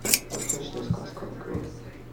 восточная сказка открой